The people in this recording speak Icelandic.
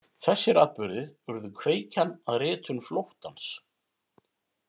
Þessir atburðir urðu kveikjan að ritun Flóttans.